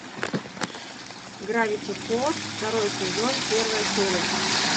гравити фолз второй сезон первая серия